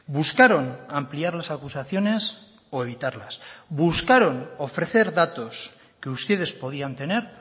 buscaron ampliar las acusaciones o evitarlas buscaron ofrecer datos que ustedes podían tener